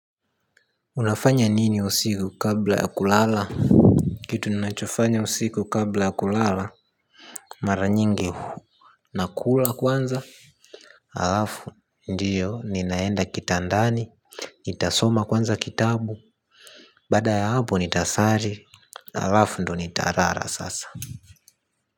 Unafanya nini usiku kabla ya kulala? Kitu ninachofanya usiku kabla ya kulala. Mara nyingi huwa nakula kwanza? Alafu ndio ninaenda kitandani nitasoma kwanza kitabu. Baada ya hapo nitasali. Alafu ndio nitalala sasa.